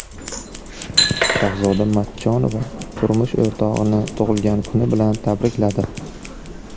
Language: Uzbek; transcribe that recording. Shahzoda Matchonova turmush o‘rtog‘ini tug‘ilgan kuni bilan tabrikladi.